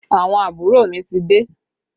Àwọn àbúrò mi ti dé